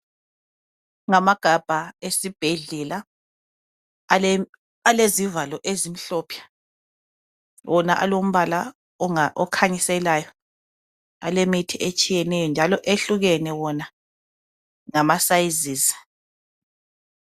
Ngamagabha esibhedlela alezivalo ezimhlophe wona alombala okhanyiselayo alemithi etshiyeneyo njalo ehlukene wona ngama sizes